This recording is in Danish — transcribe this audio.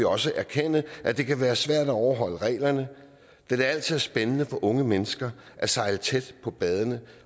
også erkende at det kan være svært at overholde reglerne da det altid er spændende for unge mennesker at sejle tæt på badende